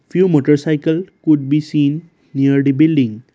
few motorcycle could be seen near the building.